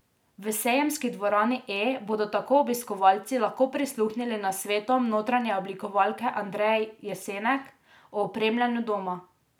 V sejemski dvorani E bodo tako obiskovalci lahko prisluhnili nasvetom notranje oblikovalke Andreje Jesenek o opremljanju doma.